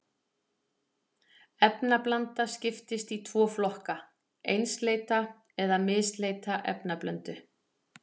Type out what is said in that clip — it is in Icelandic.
Efnablanda skiptist í tvo flokka, einsleita eða misleita efnablöndu.